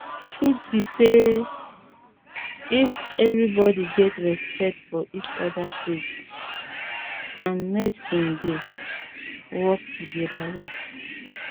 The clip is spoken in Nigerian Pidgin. truth be say um if everybody get respect for each other faith and medicine dey um work together well